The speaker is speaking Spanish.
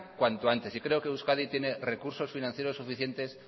cuanto antes yo creo que euskadi tiene recursos financieros suficientes